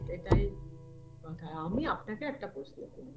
এটাই কথায় আমি আপনাকে একটা প্রশ্ন কর